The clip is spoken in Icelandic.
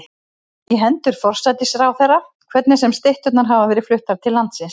í hendur forsætisráðherra, hvernig sem stytturnar hafa verið fluttar til landsins.